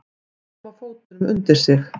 Að koma fótunum undir sig